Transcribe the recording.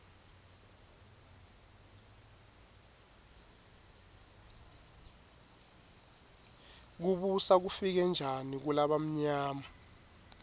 kubusa kufike njani kulabamyama